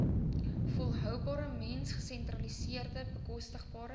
volhoubare mensgesentreerde bekostigbare